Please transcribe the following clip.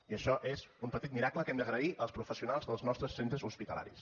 i això és un petit miracle que hem d’agrair als professionals dels nostres centres hospitalaris